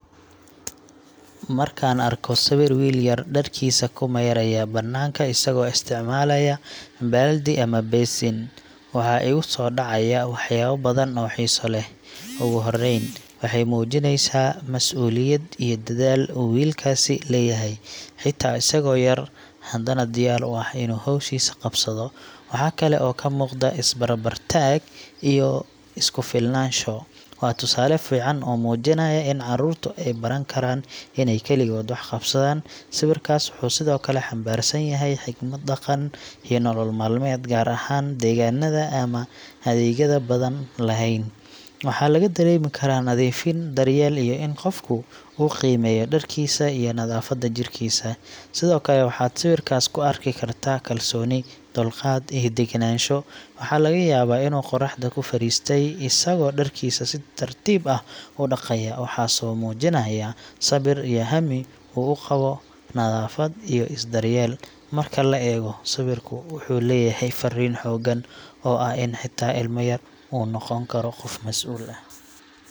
Markaan arko sawir wiil yar dharkiisa ku maydhaya bannaanka isagoo isticmaalaya baaldi ama basin, waxaa igu soo dhacaya waxyaabo badan oo xiiso leh. Ugu horreyn, waxay muujinaysaa masuuliyad iyo dadaal uu wiilkaasi leeyahay, xitaa isagoo yar, haddana diyaar u ah inuu hawshiisa qabsado. Waxaa kale oo ka muuqda is-barbar taag iyo isku filnaansho – waa tusaale fiican oo muujinaya in carruurtu ay baran karaan inay kaligood wax qabsadaan. Sawirkaas wuxuu sidoo kale xambaarsan yahay xigmad dhaqan iyo nolol maalmeed, gaar ahaan deegaannada aan adeegyada badan lahayn. Waxaa laga dareemi karaa nadiifin, daryeel, iyo in qofku uu qiimeeyo dharkiisa iyo nadaafadda jirkiisa. Sidoo kale, waxaad sawirkaas ka arki kartaa kalsooni, dulqaad, iyo degenaansho. Waxaa laga yaabaa inuu qorraxda ku fadhiistay, isagoo dharkiisa si tartiib ah u dhaqaya, waxaasoo muujinaya sabir iyo hami uu u qabo nadaafad iyo is-daryeel. Marka la eego, sawirku wuxuu leeyahay farriin xooggan oo ah in xitaa ilma yar uu noqon karo qof masuul ah.